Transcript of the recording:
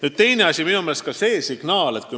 Nüüd punkt kaks.